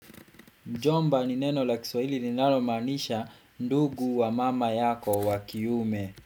Mjomba ni neno la kiswa lininalo maanisha ndugu wa mama yako wa kiume.